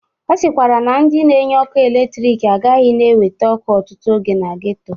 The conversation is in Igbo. Ọ sịkwara na ndị na-enye ọkụ eletrik agahi na-ewete ọkụ ọtụtụ oge na geto.